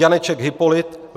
Janeček Hypolit